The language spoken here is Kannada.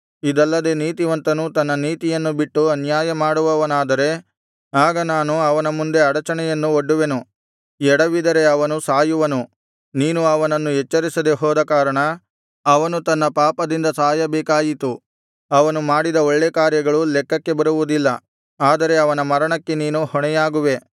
ಇದಲ್ಲದೆ ನೀತಿವಂತನು ತನ್ನ ನೀತಿಯನ್ನು ಬಿಟ್ಟು ಅನ್ಯಾಯಮಾಡುವವನಾದರೆ ಆಗ ನಾನು ಅವನ ಮುಂದೆ ಅಡಚಣೆಯನ್ನು ಒಡ್ಡುವೆನು ಎಡವಿದರೆ ಅವನು ಸಾಯುವನು ನೀನು ಅವನನ್ನು ಎಚ್ಚರಿಸದೆ ಹೋದಕಾರಣ ಅವನು ತನ್ನ ಪಾಪದಿಂದ ಸಾಯಬೇಕಾಯಿತು ಅವನು ಮಾಡಿದ ಒಳ್ಳೆಕಾರ್ಯಗಳು ಲೆಕ್ಕಕ್ಕೆ ಬರುವುದಿಲ್ಲ ಆದರೆ ಅವನ ಮರಣಕ್ಕೆ ನೀನು ಹೊಣೆಯಾಗುವೆ